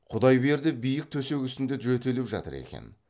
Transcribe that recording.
құдайберді биік төсек үстінде жөтеліп жатыр екен